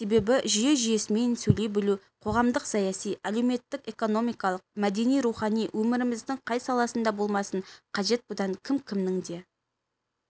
себебі жүйе-жүйесімен сөйлей білу қоғамдық-саяси әлеуметтік-экономикалық мәдени-рухани өміріміздің қай саласында болмасын қажет бұдан кім-кімнің де